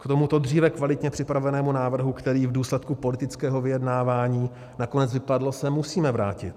K tomuto dříve kvalitně připravenému návrhu, který v důsledku politického vyjednávání nakonec vypadl, se musíme vrátit.